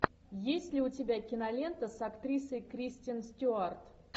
есть ли у тебя кинолента с актрисой кристиан стюарт